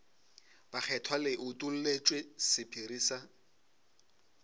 bakgethwa le utolletšwe sephiri sa